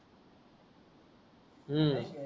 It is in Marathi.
हम्म